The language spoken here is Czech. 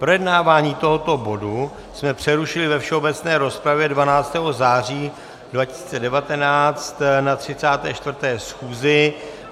Projednávání tohoto bodu jsme přerušili ve všeobecné rozpravě 12. září 2019 na 34. schůzi.